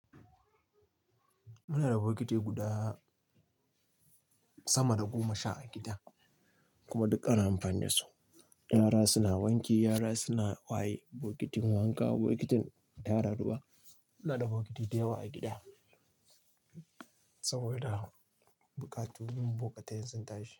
Muna da bokiti guda sama da goma sha a gida kuma duk ana amfani da su. Yara suna wanki, yara suna waye, bokitin wanka, bokitin yara daban. Muna da bokiti da yawa a gida saboda bukatun mu buƙatai sun tashi.